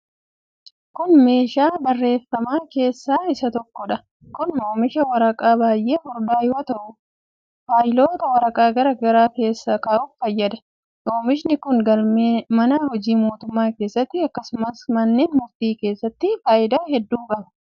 Kun, meeshaa barreeffamaa keessa isa tokkoo dha. Kun, oomisha waraqaa baay'ee furdaa yoo ta'u, faayiloota waraqaa garaa garaa keessa kaa'uuf fayyada. Oomishni kun galmee mana hojii mootummaa keessatti akkasumas manneen murtii keessatti faayidaa hedduu qaba.